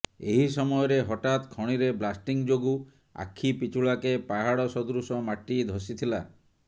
ଏହି ସମୟରେ ହଠାତ୍ ଖଣିରେ ବ୍ଲାଷ୍ଟିଂ ଯୋଗୁ ଆଖି ପିଛୁଳାକେ ପାହାଡ ସଦୃଶ ମାଟି ଧସି ଥିଲା